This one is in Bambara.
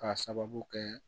K'a sababu kɛ